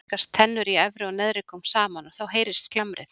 Við hann rekast tennur í efri og neðri gómi saman og þá heyrist glamrið.